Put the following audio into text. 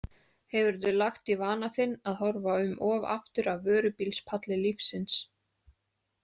Hefurðu lagt í vana þinn að horfa um of aftur af vörubílspalli lífsins?